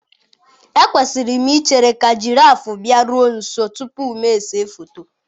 Ekwesịrị m ichere ka jiraffụ bịaruo nso tupu m ese foto.